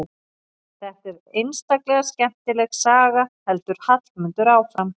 Þetta er einstaklega skemmtileg saga, heldur Hallmundur áfram.